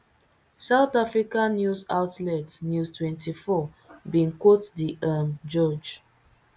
south africa news outlet news twenty-four bin quote di um judge